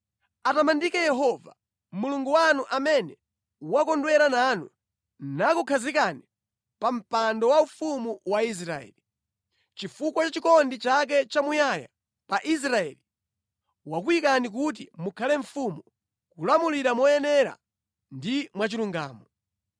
Atamandike Yehova Mulungu wanu amene wakondwera nanu nakukhazikani pa mpando waufumu wa Israeli. Chifukwa cha chikondi chake chamuyaya pa Israeli, wayika inu kuti mukhale mfumu kuti mulamulire moyenera ndi mwachilungamo.”